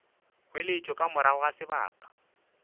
weletšo ka morago ga sebaka